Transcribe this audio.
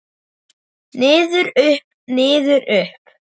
Niður, upp, niður upp.